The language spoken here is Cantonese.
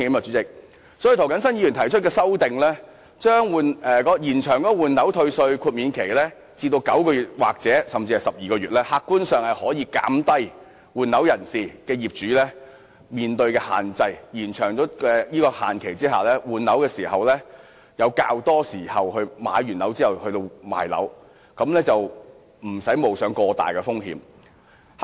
所以，涂謹申議員提出修正案，要求延長換樓退稅的豁免期至9個月或12個月，以減低換樓業主面對的限制，讓他們在購置新物業後，有較多時間出售原有物業，無須冒過大風險。